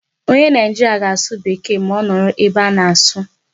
Onye Nigeria ga-asụ Bekee ma ọ nọrọ ebe a na-asụ.